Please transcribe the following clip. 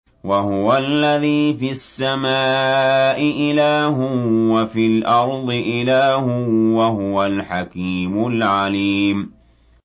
وَهُوَ الَّذِي فِي السَّمَاءِ إِلَٰهٌ وَفِي الْأَرْضِ إِلَٰهٌ ۚ وَهُوَ الْحَكِيمُ الْعَلِيمُ